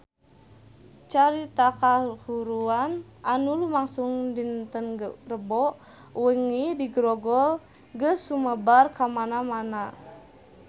Carita kahuruan anu lumangsung dinten Rebo wengi di Grogol geus sumebar kamana-mana